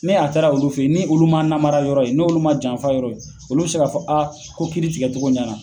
Ni a taara olu fe ye ni oluma m'a namara yɔrɔ ye n'olu ma janfa yɔrɔ ye olu be se k'a fɔ a ko kiiri tigɛ togo ɲɛna